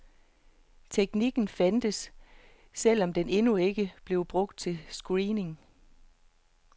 Teknikken fandtes, selv om den endnu ikke blev brugt til screening.